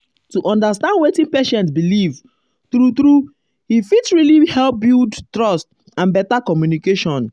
to understand wetin patient believe um true true he fit really help build um trust and better communication.